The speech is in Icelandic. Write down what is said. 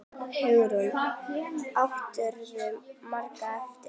Hugrún: Áttirðu margar eftir?